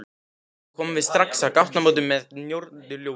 Komum við strax að gatnamótum með norðurljósum